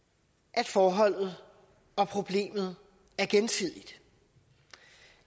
at forholdet og problemet er gensidigt